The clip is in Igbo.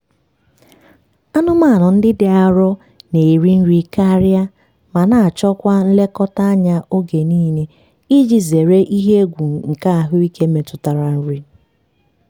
anụmanụ ndị dị arọ na-eri nri karịa ma na-achọ kwa nlekọta anya oge niile iji zere ihe egwu nke ahụike metụtara nri.